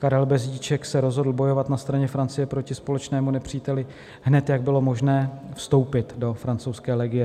Karel Bezdíček se rozhodl bojovat na straně Francie proti společnému nepříteli hned, jak bylo možné vstoupit do francouzské legie.